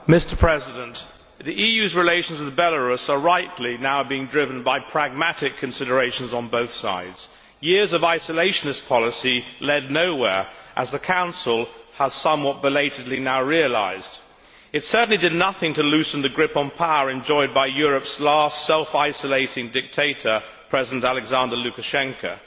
Mr President, the EU's relations with Belarus are rightly now being driven by pragmatic considerations on both sides. Years of isolationist policy led nowhere, as the Council has somewhat belatedly now realised. It certainly did nothing to loosen the grip on power enjoyed by Europe's last self isolating dictator, President Alexander Lukashenko.